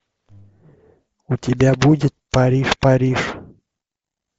у тебя будет париж париж